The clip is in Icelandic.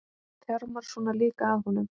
Þjarmar svona líka að honum!